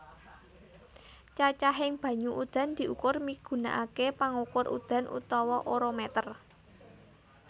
Cacahing banyu udan diukur migunakaké pangukur udan utawa orometer